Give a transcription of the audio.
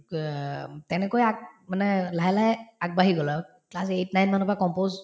তেনেকৈ আগ‍ মানে লাহে লাহে আগবাঢ়ি গলো আৰু class eight nine মানৰ পৰা compose